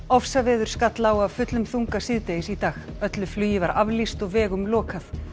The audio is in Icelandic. ofsaveður skall á af fullum þunga síðdegis í dag öllu flugi var aflýst og vegum lokað